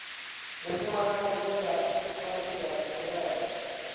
mufumakadzi nga fhasi ha mulayo